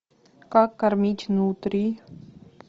как кормить нутрий